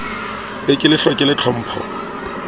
be ke le hlokela tlhompho